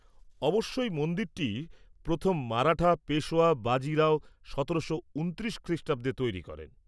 অবশ্যই, মন্দিরটি প্রথম মারাঠা পেশওয়া বাজি রাও সতেরোশো উনত্রিশ খ্রিষ্টাব্দে তৈরি করেন।